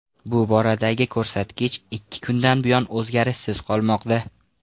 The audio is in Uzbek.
Bu boradagi ko‘rsatkich ikki kundan buyon o‘zgarishsiz qolmoqda.